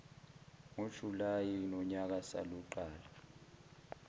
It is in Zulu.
ngojulayi nonyaka saluqala